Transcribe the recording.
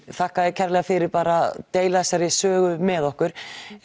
þakka þér kærlega fyrir bara að deila þessari sögu með okkur